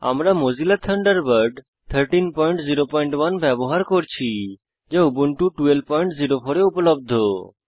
আমরা Mozilla Thunderbird 1301 ব্যবহার করছি যা উবুন্টু 1204 এ উপলব্ধ